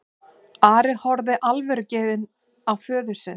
Ari horfði alvörugefinn á föður sinn.